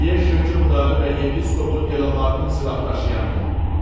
Liej hökmdarı və yepiskopu Delamarkın silahdaşıyanıyam.